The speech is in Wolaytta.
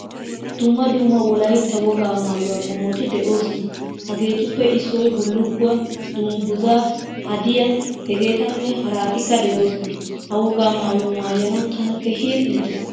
Dumma dumma wolaytta wogaa maayuwaa qommoti deosona. Hagetuppe issoy bullukuwaa, dungguzza, hadiyaa hegetane haratika deosona. Ha wogaa maayuwaa maayanawu tana keehin iitees.